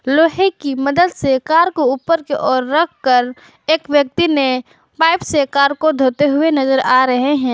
लोहे की मदद से कार को ऊपर के ओर रखकर एक व्यक्ति ने पाइप से कर को धोते हुए नजर आ रहे हैं।